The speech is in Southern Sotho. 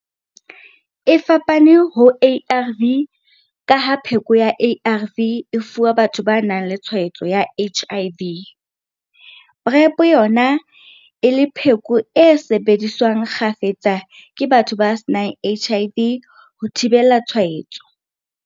E fapane ho ARV ka ha pheko ya ARV e fuwa batho ba nang le tshwaetso ya HIV, PrEP yona e le pheko e sebediswang kgafetsa ke batho ba senang HIV ho thibela tshwaetso.